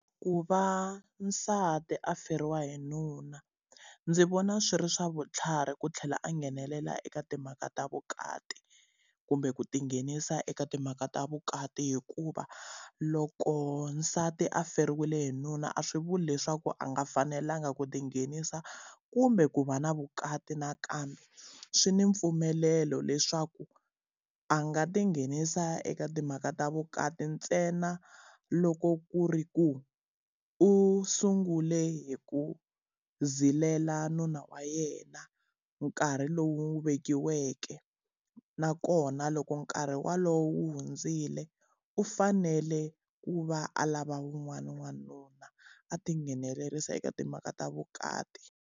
Ku va nsati a feriwa hi nuna, ndzi vona swi ri swa vutlhari ku tlhela a nghenelela eka timhaka ta vukati kumbe ku ti nghenisa eka timhaka ta vukati hikuva, loko nsati a feriwile hi nuna a swi vuli leswaku a nga fanelangi ku ti nghenisa kumbe ku va na vukati nakambe. swi ni mpfumelelo leswaku a nga ti nghenisa eka timhaka ta vukati ntsena loko ku ri ku u sungule hi ku zilela nuna wa yena nkarhi lowu n'wi vekiweke, nakona loko nkarhi wolowo wu hundzile u fanele ku va a lava wun'wana wanuna. A tinghenelerisa eka timhaka ta vukati.